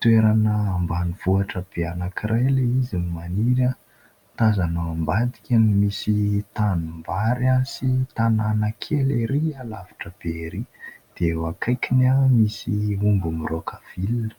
toerana ambanivohitra be anankiray ilay izy no maniry ; tazana ao ambadika no nisy tanimbary sy tanàna kely ery alavitra be ery dia eo akaikiny misy omby miraoka vilona.